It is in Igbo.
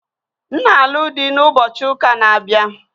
M na-alụ di na ụbochị ụka na-abịa